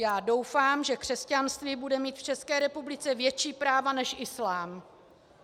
Já doufám, že křesťanství bude mít v České republice větší práva než islám.